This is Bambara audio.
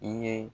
I ye